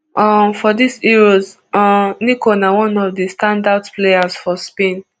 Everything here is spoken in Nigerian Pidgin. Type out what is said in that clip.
um for dis euros um nico na one of di standout players for spain